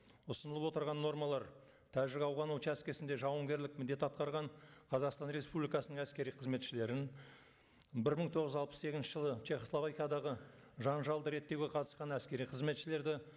ұсынылып отырған нормалар тәжік ауған учаскесінде жауынгерлік міндет атқарған қазақстан республикасының әскери қызметшілерін бір мың тоғыз жүз алпыс сегізінші жылы чехословакиядағы жанжалды реттеуге қатысқан әскери қызметшілерді